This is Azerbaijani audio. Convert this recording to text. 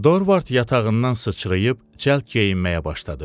Dorvard yatağından sıçrayıb cəld geyinməyə başladı.